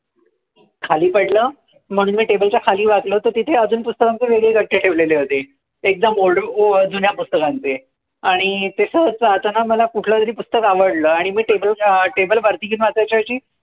खाली पडलं. म्हणून मी table च्या खाली वाकलो तर तिथे पुस्तकांचे अजून गठ्ठे ठेवलेले होते. एकदम old अं जुन्या पुस्तकांचे आणि ते सहज जाताना मला कुठलं तरी पुस्तक आवडलं. आणि मी table अं table वरती घेऊन वाचायच्या ऐवजी,